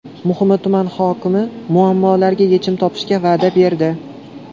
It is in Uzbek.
Muhimi, tuman hokimi muammolarga yechim topishga va’da berdi.